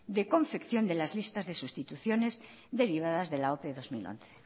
de confección de las listas de sustituciones derivadas de la ope bi mila hamaika